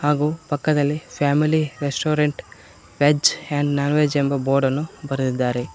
ಹಾಗು ಪಕ್ಕದಲ್ಲಿ family restaurant veg and non veg ಎಂಬ ಬೋರ್ಡ್ ಅನ್ನು ಬರೆದಿದ್ದಾರೆ.